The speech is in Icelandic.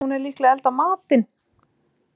Nei, hún er líklega að elda matinn.